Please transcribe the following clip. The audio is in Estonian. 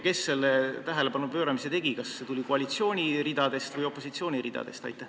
Kes selle tähelepanu pööramise tegi – kas see tuli koalitsiooni või opositsiooni ridadest?